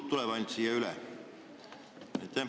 Võib-olla ainult kaks inimest tuleb siia üle.